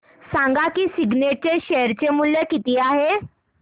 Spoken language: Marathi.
सांगा सिग्नेट चे शेअर चे मूल्य किती आहे